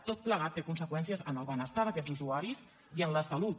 tot plegat té conseqüències en el benestar d’aquests usuaris i en la salut